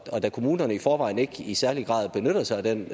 og da kommunerne i forvejen ikke i særlig høj grad benytter sig af den